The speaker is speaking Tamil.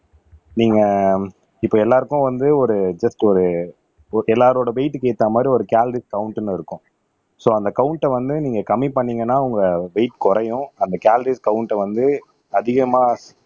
நீங்க இப்ப எல்லாருக்கும் வந்து ஒரு ஜஸ்ட் ஒரு ஒகே எல்லாரோட வெயிட்க்கு ஏத்த மாரி ஒரு கலோரிஸ் கவுண்ட்ன்னு இருக்கும் சோ அந்த கவுண்ட வந்து நீங்க கம்மி பண்ணீங்கன்னா உங்க வெயிட் குறையும் அந்த கலோரிஸ் கவுண்ட வந்து அதிகமா